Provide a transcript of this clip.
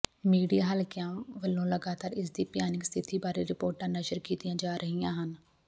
media ਹਲਕਿਆਂ ਵੱਲੋਂ ਲਗਾਤਾਰ ਇਸ ਦੀ ਭਿਆਨਕ ਸਥਿਤੀ ਬਾਰੇ ਰਿਪੋਰਟਾਂ ਨਸ਼ਰ ਕੀਤੀਆਂ ਜਾ ਰਹੀਆਂ ਹਨ